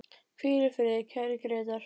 Hvíl í friði, kæri Grétar.